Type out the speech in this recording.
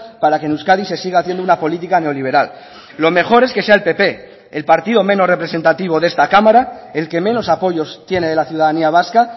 para que en euskadi se siga haciendo una política neoliberal lo mejor es que sea el pp el partido menos representativo de esta cámara el que menos apoyos tiene de la ciudadanía vasca